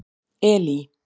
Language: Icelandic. Elí